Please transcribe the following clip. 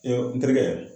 N terikɛ